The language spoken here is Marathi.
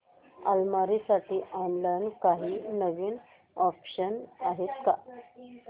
अलमारी साठी ऑनलाइन काही नवीन ऑप्शन्स आहेत का